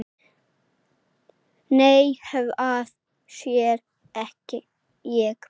Nei, hvað sé ég?